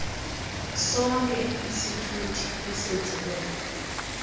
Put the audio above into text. sonke isithuthi ezenziwe